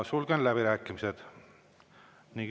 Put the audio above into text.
Sulgen läbirääkimised.